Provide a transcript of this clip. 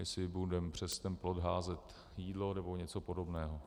Jestli budeme přes ten plot házet jídlo nebo něco podobného.